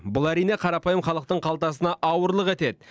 бұл әрине қарапайым халықтың қалтасына ауырлық етеді